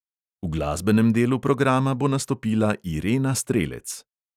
V glasbenem delu programa bo nastopila irena strelec.